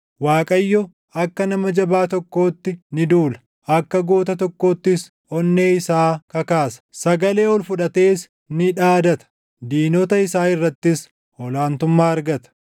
Waaqayyo akka nama jabaa tokkootti ni duula; akka goota tokkoottis onnee isaa kakaasa; sagalee ol fudhatees ni dhaadata; diinota isaa irrattis ol aantummaa argata.